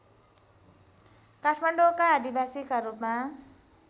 काठमाडौँका आदिवासीका रूपमा